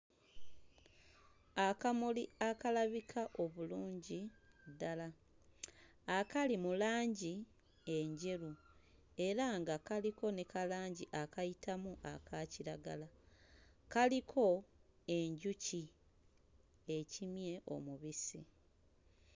Akamuli akalabika obulungi ddala akali mu langi enjeru era nga kaliko ne kalangi akayitamu aka kiragala kaliko enjuki ekimye omubisi.